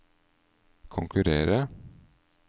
konkurrere